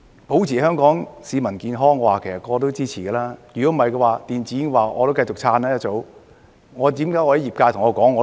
保持香港市民健康，人人都會支持，否則我一早會繼續支持電子煙。